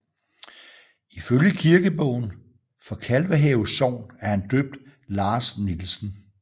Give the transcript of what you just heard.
I følge kirkebogen for Kalvehave sogn er han døbt Lars Nielsen